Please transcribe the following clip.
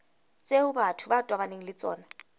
tseo batho ba tobaneng le